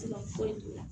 foyi la